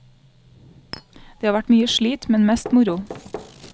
Det har vært mye slit, men mest moro.